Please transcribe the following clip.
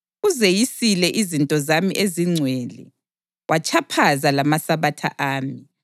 Uzeyisile izinto zami ezingcwele watshaphaza lamaSabatha ami.